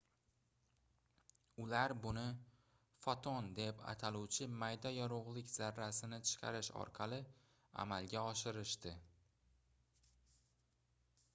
ular buni foton deb ataluvchi mayda yorugʻlik zarrasini chiqarish orqali amalga oshirishdi